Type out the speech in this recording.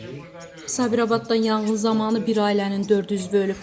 Sabirabaddan yanğın zamanı bir ailənin dörd üzvü ölüb.